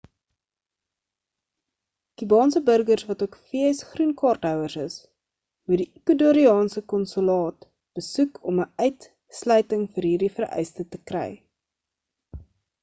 kubaanse burgers wat ook vs groen kaart houers is moet die ecuardoriaanse konsulaat besoek om 'n uitsluiting vir hierdie vereiste te kry